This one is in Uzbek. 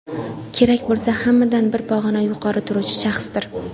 kerak bo‘lsa hammadan bir pog‘ona yuqori turuvchi shaxsdir.